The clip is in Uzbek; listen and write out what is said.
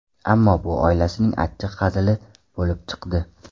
Ammo bu oilasining achchiq hazili bo‘lib chiqdi.